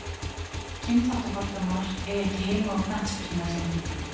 Kynþáttafordómar eiga ekki heima á knattspyrnuvellinum.